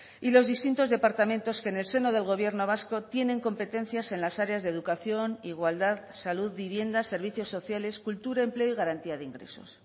y los distintos departamentos que en el seno del gobierno vasco tienen competencias en las áreas de educación igualdad salud vivienda servicios sociales cultura empleo y garantía de ingresos